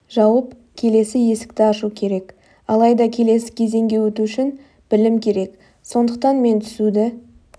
жауып келесі есікті ашу керек алайда келесі кезеңге өту үшін білім керек сондықтан мен түсуді